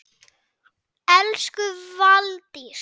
Elsku Valdís.